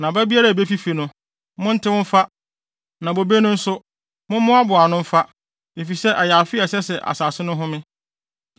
Na aba biara a ebefifi no, monntew mfa, na bobe no nso, mommmoaboa ano mfa. Efisɛ ɛyɛ afe a ɛsɛ sɛ asase no home.